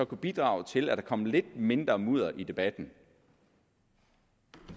kunne bidrage til at der kom lidt mindre mudder i debatten